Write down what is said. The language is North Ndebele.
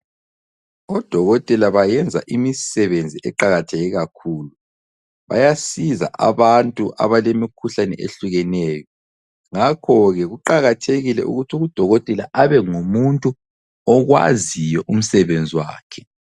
Odokotela bayenza imisebenzi eqakatheke kakhulu. Bayasiza abantu abalemikhuhlane ehlukeneyo ngakhoke kuqakathekile ukuthi udokotela abe ngumuntu okwaziyo umsebenzi wakhe.